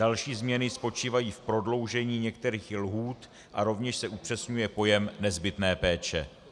Další změny spočívají v prodloužení některých lhůt a rovněž se upřesňuje pojem nezbytné péče.